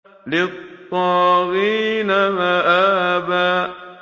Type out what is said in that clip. لِّلطَّاغِينَ مَآبًا